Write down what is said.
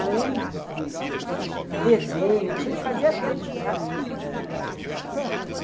Além de desenho, a gente fazia tudo, sabe?